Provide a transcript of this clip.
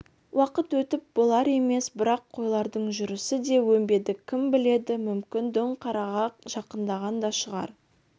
уақыт өтіп болар емес бірақ қойлардың жүрісі де өнбеді кім біледі мүмкін дөңқараға жақындаған да шығар